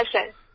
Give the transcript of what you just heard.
হ্যাঁ স্যার